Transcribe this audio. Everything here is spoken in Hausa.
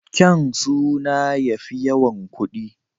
Kyaun suna ya fi yawan kuɗI